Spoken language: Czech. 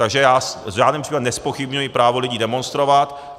Takže já v žádném případě nezpochybňuji právo lidí demonstrovat.